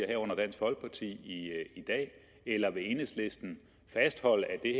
herunder dansk folkeparti eller vil enhedslisten fastholde at det